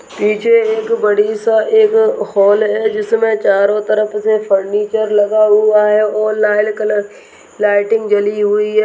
निचे एक बड़ी सा एक हॉल है जिसमे चारो तरफ से फर्नीचर लगा हुआ है और लाल कलर लाइटिंग जली हुई है।